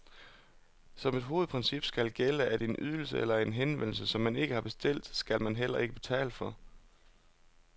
Som et hovedprincip skal gælde, at en ydelse eller en henvendelse, som man ikke har bestilt, skal man heller ikke betale for.